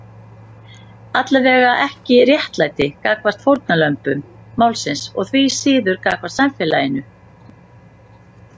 Allavega ekki réttlæti gagnvart fórnarlömbum málsins og því síður gagnvart samfélaginu.